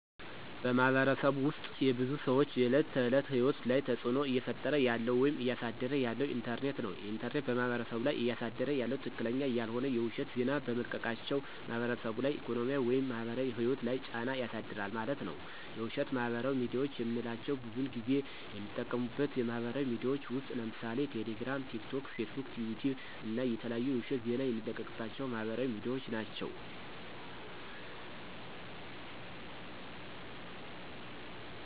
በማህበረሰቡ ውስጥ የብዙ ሰዎች የዕለት ተዕለት ህይወት ላይ ተፅዕኖ እየፈጠረ ያለው ወይም እያሳደረ ያለው ኢንተርኔት ነው። ኢንተርኔት በማህበረሰቡ ላይ እያሳደረ ያለው ትክክለኛ ያልሆነ የውሸት ዜና በመልቀቃቸው በማህበረሰቡ ላይ ኢኮኖሚያዊ ወይም ማህበራዊ ህይወት ላይ ጫና ያሳድራል ማለት ነዉ። የውሸት ማህበራዊ ሚድያዎች የምንላቸው ብዙን ጊዜ የሚጠቀሙበት ማህበራዊ ሚድያዎች ውስጥ ለምሳሌ ቴሌግራም፣ ቲክቶክ፣ ፌስቡክ፣ ዩቲዩብ እና የተለያዩ የውሸት ዜና የሚለቀቅባቸው ማህበራዊ ሚድያዎች ናቸው።